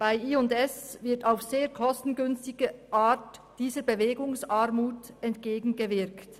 Bei J+S wird dieser Bewegungsarmut auf eine kostengünstige Art entgegengewirkt.